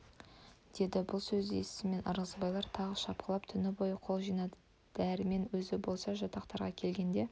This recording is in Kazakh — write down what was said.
деді бұл сөзді естісімен ырғызбайлар тағы шапқылап түні бойы қол жинады дәрмен өзі болса жатақтарға келгенде